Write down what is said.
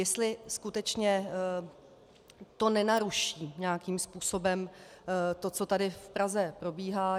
Jestli skutečně to nenaruší nějakým způsobem to, co tady v Praze probíhá.